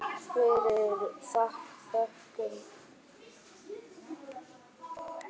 Fyrir það þökkum við honum.